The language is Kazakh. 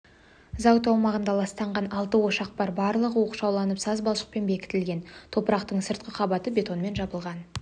зауыт аумағында ластанған алты ошақ бар барлығы оқшауланып саз балшықпен бекітілген топырақтың сыртқы қабаты бетонмен жабылған